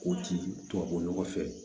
K'o ci tubabu nɔgɔ fɛ